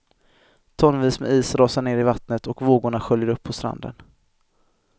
Tonvis med is rasar ner i vattnet och vågorna sköljer upp på stranden.